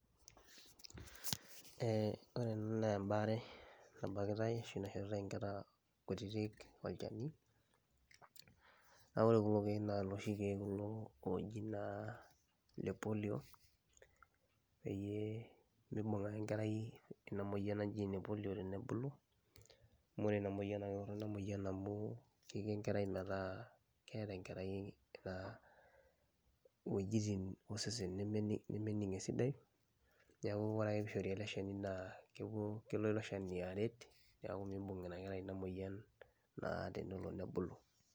Ee ore ena na embare, nabakitai ashu naishoritae nkera kutitik olchani, na ore kulo kiek na loshi kiek oji naa le polio peyie mibung ake enkerai inamoyian naji ene polio tenebulu amu ore inamoyian ketoronok amu kiko enkerai metaa keeta enkerai wuejitin osesen nemening esidai, neaku ore ake peishori eleshani naa kelo eleshani aret neaku mibung inakerai inamoyian tenebulu.